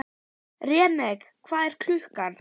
Remek, hvað er klukkan?